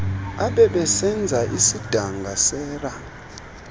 abebesenza isidanga sera